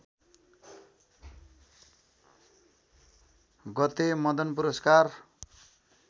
गते मदन पुरस्कार